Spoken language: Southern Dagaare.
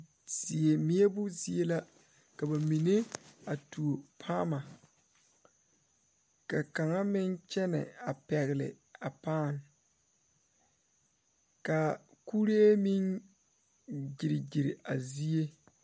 Die meɛbo zie la ka ba mine a tuo paama ka kaŋa meŋ kyɛnɛ a pɛgle a paane ka kuree meŋ gyere gyere a zie.